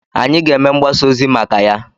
Anyị ga-eme mgbasa ozi maka ya.